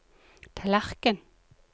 tallerken